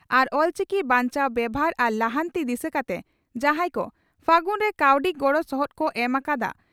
ᱟᱨ ᱚᱞᱪᱤᱠᱤ ᱵᱟᱧᱪᱟᱣ ᱵᱮᱵᱷᱟᱨ ᱟᱨ ᱞᱟᱦᱟᱱᱛᱤ ᱫᱤᱥᱟᱹ ᱠᱟᱛᱮ ᱡᱟᱦᱟᱸᱭ ᱠᱚ 'ᱯᱷᱟᱹᱜᱩᱱ' ᱨᱮ ᱠᱟᱹᱣᱰᱤ ᱜᱚᱲᱚ ᱥᱚᱦᱚᱫ ᱠᱚ ᱮᱢ ᱟᱠᱟᱫᱟ